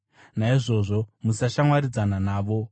Naizvozvo musashamwaridzana navo.